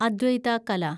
അദ്വൈത കല